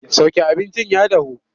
Sauke abincin ya dahu!